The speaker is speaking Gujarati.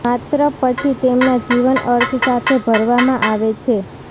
માત્ર પછી તેમના જીવન અર્થ સાથે ભરવામાં આવે છે